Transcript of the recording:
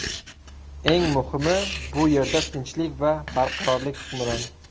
Eng muhimi, bu yerda tinchlik va barqarorlik hukmron.